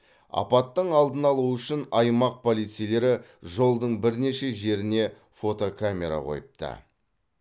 апаттың алдын алу үшін аймақ полицейлері жолдың бірнеше жеріне фотокамера қойыпты